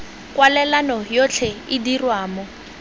kwalelano yotlhe e dirwa mo